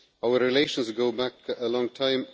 Our relations go back a long time.